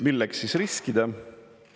Milleks siis riskida?